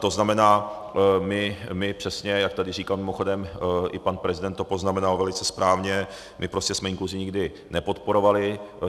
To znamená, my přesně, jak tady říkal, mimochodem i pan prezident to poznamenal velice správně, my prostě jsme inkluzi nikdy nepodporovali.